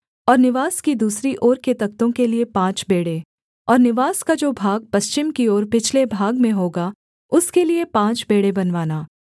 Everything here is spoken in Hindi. और निवास की दूसरी ओर के तख्तों के लिये पाँच बेंड़े और निवास का जो भाग पश्चिम की ओर पिछले भाग में होगा उसके लिये पाँच बेंड़े बनवाना